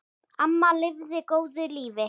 Amma lifði góðu lífi.